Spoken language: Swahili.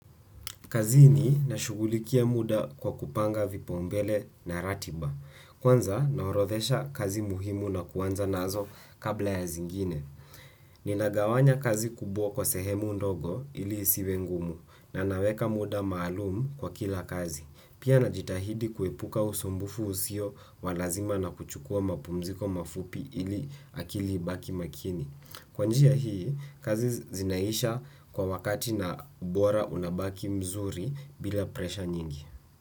Kazini nashughulikia muda kwa kupanga vipaumbele na ratiba. Kwanza naorodhesha kazi muhimu na kuanza nazo kabla ya zingine. Ninagawanya kazi kubwa kwa sehemu ndogo ili isiwe ngumu na naweka muda maalumu kwa kila kazi. Pia najitahidi kuepuka usumbufu usio wa lazima na kuchukua mapumziko mafupi ili akili ibaki makini. Kwa njia hii, kazi zinaisha kwa wakati na ubora unabaki mzuri bila presha nyingi.